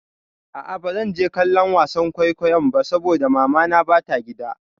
A'a bazan je kallon wasan kwaikwayon ba saboda mamana ba ta gida.